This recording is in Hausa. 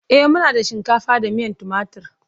E, muna da shinkafa da miyan timatur.